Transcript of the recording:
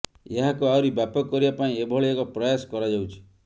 ଏହାକୁ ଆହୁରି ବ୍ୟାପକ କରିବା ପାଇଁ ଏଭଳି ଏକ ପ୍ରୟାସ କରାଯାଉଛି